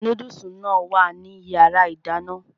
Núdùsì náà wà ní yàrá ìdáná